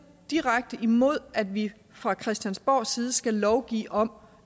direkte imod at vi fra christiansborgs side skal lovgive om